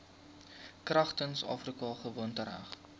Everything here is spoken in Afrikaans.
kragtens afrika gewoontereg